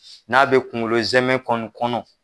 N'a bɛ kunkolo zɛmɛ kɔni kɔnɔ